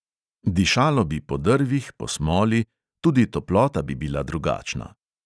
Dišalo bi po drvih, po smoli, tudi toplota bi bila drugačna.